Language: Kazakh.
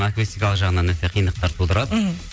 акустикалық жағынан өте қиындықтар тудырады мхм